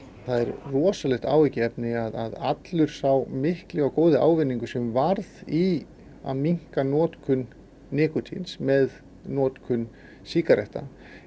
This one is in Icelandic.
það er rosalegt áhyggjuefni að allur sá mikli og góði ávinningur sem varð í að minnka notkun nikótíns með notkun sígaretta